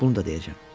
Bunu da deyəcəm.